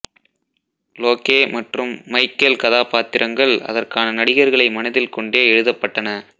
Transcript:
லோக்கே மற்றும் மைக்கெல் கதாபாத்திரங்கள் அதற்கான நடிகர்களை மனதில் கொண்டே எழுதப்பட்டன